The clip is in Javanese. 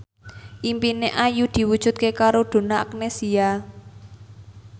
impine Ayu diwujudke karo Donna Agnesia